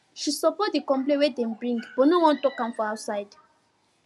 she support the complain wey dem bring but no wan talk am outside